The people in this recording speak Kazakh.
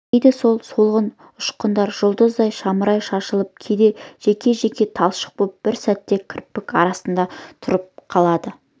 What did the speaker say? кейде сол солғын ұшқындар жұлдыздай жамырай шашылып кейде жеке-жеке талшық боп бір сәт кірпік арасында тұрып қалады